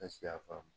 Ne si y'a faamu